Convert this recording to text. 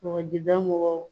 Kɔgɔjda mɔgɔw